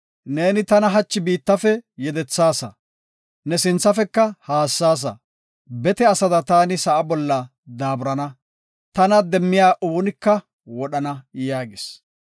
Neeni tana hachi biittafe yedethaasa; ne sinthafeka haassasa. Bete asada taani sa7a bolla daaburana; tana demmiya oonika wodhana” yaagis.